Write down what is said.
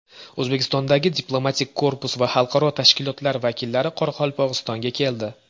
O‘zbekistondagi diplomatik korpus va xalqaro tashkilotlar vakillari Qoraqalpog‘istonga keldi.